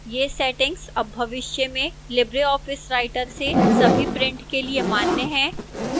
ये settings अब भविष्य में libreoffice writer से सभी prints के लिए मान्य हैं